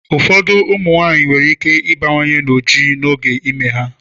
Ụfọdụ ụmụ nwanyị nwere ike ịbawanye n'ojiji n'oge ime ha.